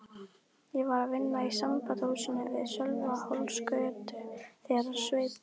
Ég var við vinnu í Sambandshúsinu við Sölvhólsgötu þegar Sveinn